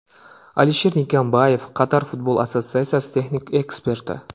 Alisher Nikimbayev, Qatar futbol assotsiatsiyasi texnik eksperti !